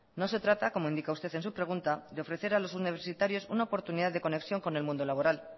no se trata como indica usted en su pregunta de ofrecer a los universitarios una oportunidad de conexión con el mundo laboral